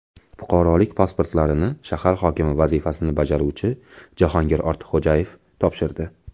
Fuqarolik pasportlarini shahar hokimi vazifasini bajaruvchi Jahongir Ortiqxo‘jayev topshirdi.